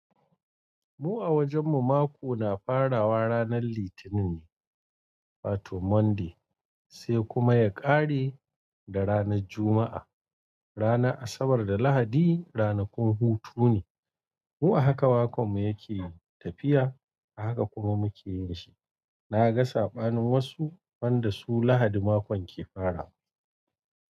Mu a wajen mu mako na farawa ranar litinin, wato Monday sai kuma ya kare da ranar Juma’a. Ranar Asabar da Lahadi ranakun hutu ne. Mu a haka makon mu yake tafiya a haka kuma muke yinshi. Na ga saɓanin wasu wanda su Lahadi makon ke farawa.